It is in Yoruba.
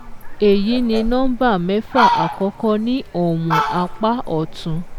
Èyí ni number mẹ́fà àkọ́kọ́ ní ọ̀wọ̀n apá ọ̀tún